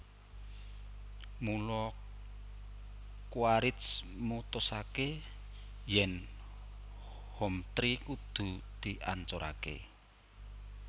Mula Quaritch mutusaké yèn Hometree kudu diancuraké